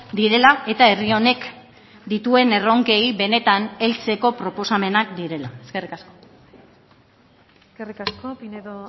direla eta herri honek dituen erronkei benetan heltzeko proposamenak direla eskerrik asko eskerrik asko pinedo